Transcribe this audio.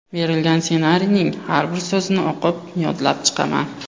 Berilgan ssenariyning har bir so‘zini o‘qib yodlab chiqaman.